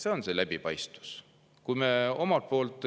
See on see läbipaistvus!